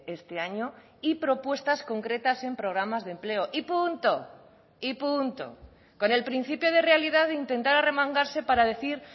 este año y propuestas concretas en programas de empleo y punto y punto con el principio de realidad de intentar arremangarse para decir